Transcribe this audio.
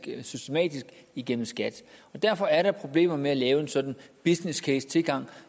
eller systematisk igennem skat derfor er der problemer med at lave en sådan businesscasetilgang